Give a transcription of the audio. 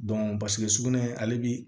sugunɛ ale bi